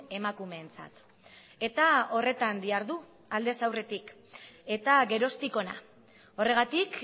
emakumeentzat eta horretan dihardu aldez aurretik eta geroztik hona horregatik